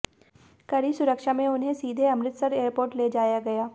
कड़ी सुरक्षा में उन्हें सीधे अमृतसर एयरपोर्ट ले जाया गया